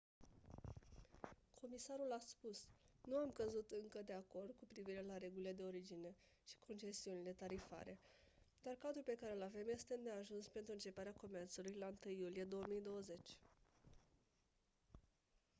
comisarul a spus: «nu am căzut încă de acord cu privire la regulile de origine și concesiunile tarifare dar cadrul pe care îl avem este îndeajuns pentru începerea comerțului la 1 iulie 2020».